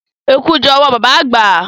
Eku jẹ́ owó baba àgbà.